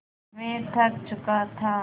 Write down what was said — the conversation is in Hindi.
मैं थक चुका था